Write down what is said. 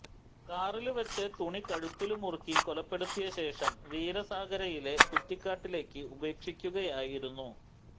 കാറില് വെച്ച് തുണി കഴുത്തില് മുറുക്കി കൊലപ്പെടുത്തിയ ശേഷം വീരസാഗരയിലെ കുറ്റിക്കാട്ടില് ഉപേക്ഷിക്കുകയായിരുന്നു